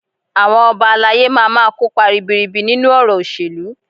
Àwọn Ọba alayé má máa kópa ribiribi nínú ọ̀rọ̀ òṣèlú